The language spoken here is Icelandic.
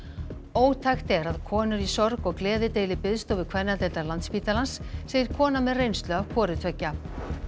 ótækt er að konur í sorg og gleði deili biðstofu kvennadeildar Landspítalans segir kona með reynslu af hvoru tveggja